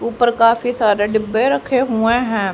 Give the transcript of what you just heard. ऊपर काफी सारे डीब्बे रखे हुए हैं।